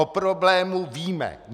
O problému víme.